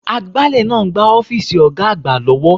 Agbálẹ̀ ń gbá ọ́fíìsì Ọ̀ga àgbà lọ́wọ́